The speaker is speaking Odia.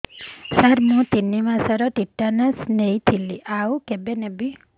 ସାର ମୁ ତିନି ମାସରେ ଟିଟାନସ ନେଇଥିଲି ଆଉ କେବେ ନେବି